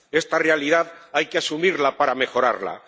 Esta realidad hay que asumirla para mejorarla.